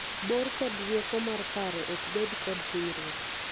bor kod rieko mar paro ok bed kod hinyruok